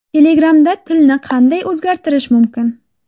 Telegram’da tilni qanday o‘zgartirish mumkin?